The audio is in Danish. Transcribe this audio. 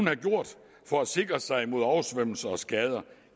have gjort for at sikre sig mod oversvømmelser og skader